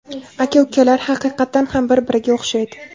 Aka-ukalar haqiqatdan ham bir-biriga o‘xshaydi.